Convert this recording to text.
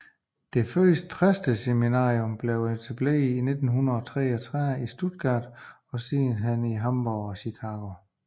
Det første præsteseminarium blev etableret i 1933 i Stuttgart og siden i Hamborg og Chicago